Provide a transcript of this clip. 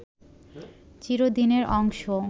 চিরদিনের অংশ